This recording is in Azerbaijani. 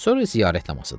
Sonra ziyarət namazıdır.